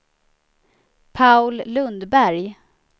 Paul Lundberg